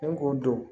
Ni k'o don